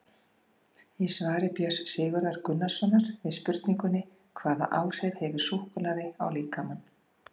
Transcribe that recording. Í svari Björns Sigurðar Gunnarssonar við spurningunni Hvaða áhrif hefur súkkulaði á líkamann?